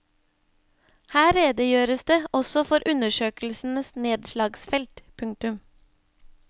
Her redegjøres det også for undersøkelsens nedslagsfelt. punktum